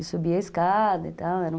E subia a escada e tal, era um